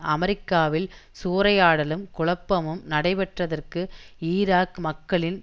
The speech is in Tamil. அமெரிக்காவில் சூறையாடலும் குழப்பமும் நடைபெற்றதற்கு ஈராக் மக்களின்